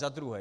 Za druhé.